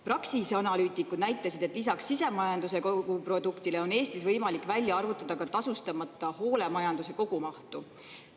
Praxise analüütikud näitasid, et lisaks sisemajanduse koguproduktile on Eestis võimalik välja arvutada ka tasustamata hoolemajanduse kogumahtu.